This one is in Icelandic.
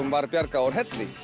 var bjargað úr helli